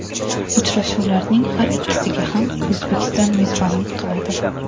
Uchrashuvlarning har ikkisiga ham O‘zbekiston mezbonlik qiladi.